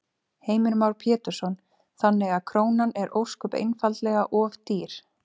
Heimir Már Pétursson: Þannig að krónan er ósköp einfaldlega of dýr?